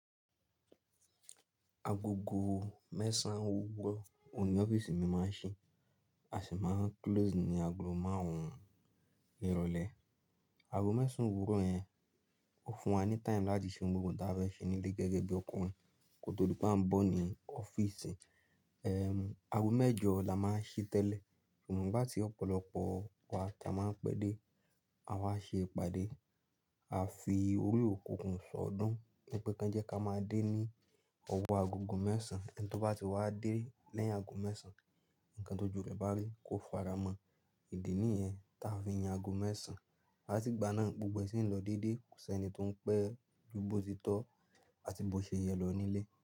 Agogo mẹ́sàn owuro òun ní ọ́fíìsì mi máa ń ṣí, a sì máa ń close ní ago márùn ún irọ̀lẹ́. Ago mẹ́sàn owuro yẹn ó fún wa ní time láti ṣe ohun gbogbo tí a fẹ́ ṣe nílé gẹ́gẹ́ bí ọkùnrin kótó di pé a ń bọ̀ ní ọ́fíìsì. Ehn, ago mẹ́jọ la máa ń se tẹ́lẹ̀, ṣùgbọ́n nigbá ti ọ̀pọ̀lọpọ̀ wa tí a máa ń pẹ́ dé, a wá ṣe ìpàdé, a fi orí òkùnkùn sọ ọ́ dán pé kí wọ́n jẹ́ ká máa dé ní ọwọ́ agogo mẹ́sàn-án. Ẹni tó bá ti wá dé lẹ́yìn ago mẹ́sàn-án, ǹkan tó ju rẹ̀ bá rí kó fara mọ́. Ìdí nìyẹn tí a fi yan ago mẹ́sàn-án. Láti ìgbà náà gbogbo ẹ̀sìn ń lọ déédé, kò sí ẹni tó ń pẹ́ ju bó ti tọ́ àti bó ṣe yẹ lọ nílé.